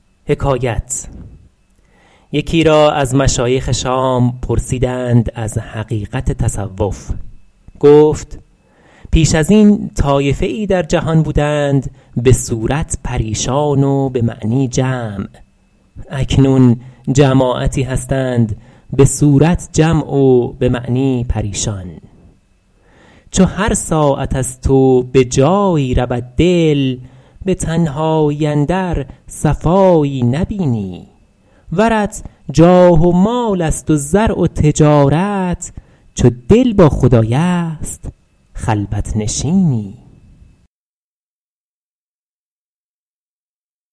یکی را از مشایخ شام پرسیدند از حقیقت تصوف گفت پیش از این طایفه ای در جهان بودند به صورت پریشان و به معنی جمع اکنون جماعتی هستند به صورت جمع و به معنی پریشان چو هر ساعت از تو به جایی رود دل به تنهایی اندر صفایی نبینی ورت جاه و مال است و زرع و تجارت چو دل با خدای است خلوت نشینی